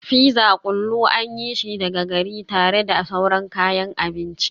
Fizza kullu an yi shi daga gari tare da sauran kayan abinci